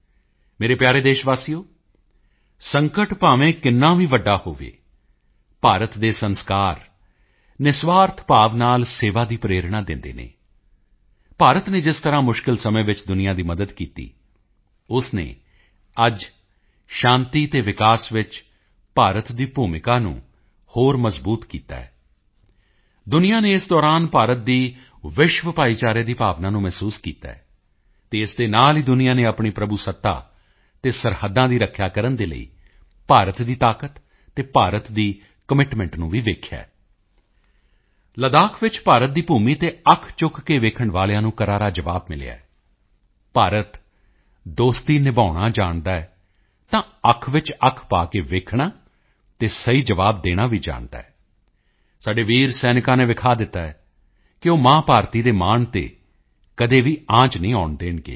ਮੇਰੇ ਪਿਆਰੇ ਦੇਸ਼ਵਾਸੀਓ ਸੰਕਟ ਭਾਵੇਂ ਕਿੰਨਾ ਵੀ ਵੱਡਾ ਹੋਵੇ ਭਾਰਤ ਦੇ ਸੰਸਕਾਰ ਨਿਰਸਵਾਰਥ ਭਾਵ ਨਾਲ ਸੇਵਾ ਦੀ ਪ੍ਰੇਰਣਾ ਦਿੰਦੇ ਹਨ ਭਾਰਤ ਨੇ ਜਿਸ ਤਰ੍ਹਾਂ ਮੁਸ਼ਕਿਲ ਸਮੇਂ ਵਿੱਚ ਦੁਨੀਆ ਦੀ ਮਦਦ ਕੀਤੀ ਉਸ ਨੇ ਅੱਜ ਸ਼ਾਂਤੀ ਅਤੇ ਵਿਕਾਸ ਵਿੱਚ ਭਾਰਤ ਦੀ ਭੂਮਿਕਾ ਨੂੰ ਹੋਰ ਮਜ਼ਬੂਤ ਕੀਤਾ ਹੈ ਦੁਨੀਆ ਨੇ ਇਸ ਦੌਰਾਨ ਭਾਰਤ ਦੀ ਵਿਸ਼ਵ ਭਾਈਚਾਰੇ ਦੀ ਭਾਵਨਾ ਨੂੰ ਮਹਿਸੂਸ ਕੀਤਾ ਹੈ ਅਤੇ ਇਸ ਦੇ ਨਾਲ ਹੀ ਦੁਨੀਆ ਨੇ ਆਪਣੀ ਪ੍ਰਭੂਸੱਤਾ ਅਤੇ ਸਰਹੱਦਾਂ ਦੀ ਰੱਖਿਆ ਕਰਨ ਦੇ ਲਈ ਭਾਰਤ ਦੀ ਤਾਕਤ ਅਤੇ ਭਾਰਤ ਦੇ ਕਮਿਟਮੈਂਟ ਨੂੰ ਵੀ ਦੇਖਿਆ ਹੈ ਲੱਦਾਖ ਵਿੱਚ ਭਾਰਤ ਦੀ ਭੂਮੀ ਤੇ ਅੱਖ ਚੁੱਕ ਕੇ ਵੇਖਣ ਵਾਲਿਆਂ ਨੂੰ ਕਰਾਰਾ ਜਵਾਬ ਮਿਲਿਆ ਹੈ ਭਾਰਤ ਦੋਸਤੀ ਨਿਭਾਉਣਾ ਜਾਣਦਾ ਹੈ ਤਾਂ ਅੱਖ ਵਿੱਚ ਅੱਖ ਪਾ ਕੇ ਦੇਖਣਾ ਅਤੇ ਸਹੀ ਜਵਾਬ ਦੇਣਾ ਵੀ ਜਾਣਦਾ ਹੈ ਸਾਡੇ ਵੀਰ ਸੈਨਿਕਾਂ ਨੇ ਦਿਖਾ ਦਿੱਤਾ ਹੈ ਕਿ ਉਹ ਮਾਂ ਭਾਰਤੀ ਦੇ ਮਾਣ ਤੇ ਕਦੇ ਵੀ ਆਂਚ ਨਹੀਂ ਆਉਣ ਦੇਣਗੇ